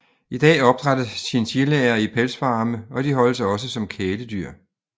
I dag opdrættes chinchillaer i pelsfarme og de holdes også som kæledyr